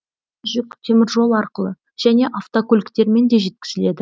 жүк теміржол арқылы және автокөліктермен де жеткізіледі